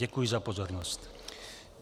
Děkuji za pozornost.